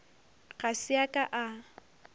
ga se a ka a